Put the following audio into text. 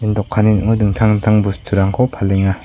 dokanni ning·o dingtang dingtang bosturangko palenga.